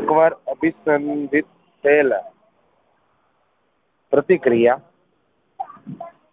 એકવાર અભિસંધિત થયેલા પ્રતિક્રિયા